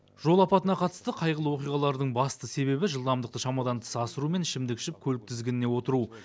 жол апатына қатысты қайғылы оқиғалардың басты себебі жылдамдықты шамадан тыс асыру мен ішімдік ішіп көлік тізгініне отыру